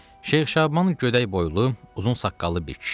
Şeyx Şaban gödək boylu, uzun saqqallı bir kişi idi.